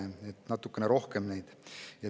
Nii et neid on natukene rohkem.